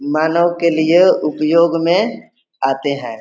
मानव के लिए उपयोग में आते है।